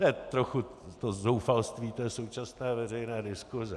To je trochu zoufalství té současné veřejné diskuse.